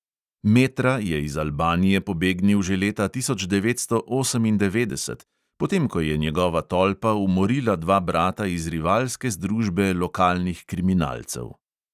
Metra je iz albanije pobegnil že leta tisoč devetsto osemindevetdeset, potem ko je njegova tolpa umorila dva brata iz rivalske združbe lokalnih kriminalcev.